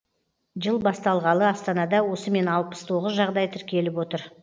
жыл басталғалы астанада осымен алпыс тоғыз жағдай тіркеліп отыр